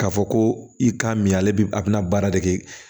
K'a fɔ ko i k'a min ale bi a bɛna baara de kɛ